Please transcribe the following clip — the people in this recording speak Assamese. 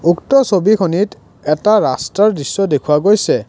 উক্ত ছবিখনিত এটা ৰাস্তাৰ দৃশ্য দেখুওৱা গৈছে।